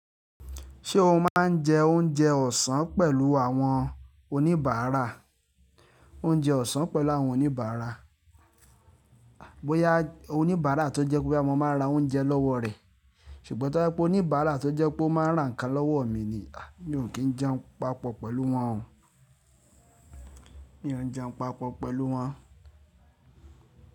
Ṣé o máa ń jẹ oúnjẹ ọ̀sán pẹ̀lú àwọn oníbàárà? Oúnjẹ ọ̀sán pẹ̀lú àwọn oníbàárà. Bóyá oníbàárà tó jẹ́ pé boya mo máa n ra oúnjẹ lọ́wọ́ rẹ̀, ṣùgbọ́n tó je pé oníbàárà tó jẹ́ pé ó máa ń rà ǹkan lọ́wọ́ mi ni, à mi ò kí ń jẹun papọ̀ pẹ̀lú wọn o. Mi ò ń jẹun papọ̀ pẹ̀lú wọn.